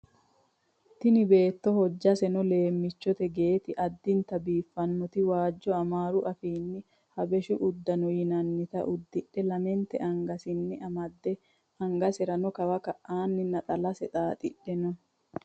Tini beetto hojjaseno leemmichote geeti addinta biiffanoti waajjo amaaru afiinni habashu uddano yinannita udidhe lamente angasenni amadde angaserano kawa ka'aa naxalase xaaxidhe no